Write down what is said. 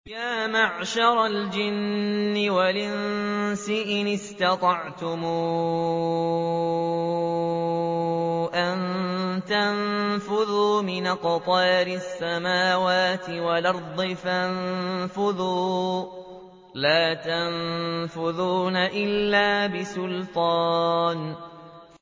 يَا مَعْشَرَ الْجِنِّ وَالْإِنسِ إِنِ اسْتَطَعْتُمْ أَن تَنفُذُوا مِنْ أَقْطَارِ السَّمَاوَاتِ وَالْأَرْضِ فَانفُذُوا ۚ لَا تَنفُذُونَ إِلَّا بِسُلْطَانٍ